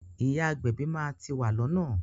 Ìyá agbẹ̀bí máa ti wà lọ́nà.